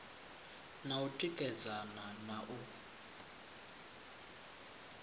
na u tikedzana na u